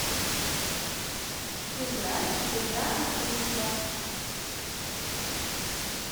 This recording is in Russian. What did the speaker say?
играть в игра открытка